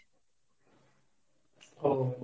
ও,